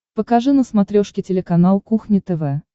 покажи на смотрешке телеканал кухня тв